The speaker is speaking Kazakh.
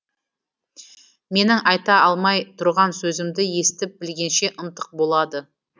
менің айта алмай тұрған сөзімді естіп білгенше ынтық болады